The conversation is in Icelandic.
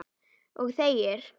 Og þegir.